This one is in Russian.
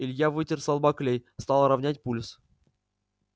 илья вытер со лба клей стал ровнять пульс